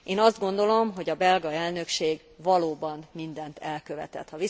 Én azt gondolom, hogy a belga elnökség valóban mindent elkövetett.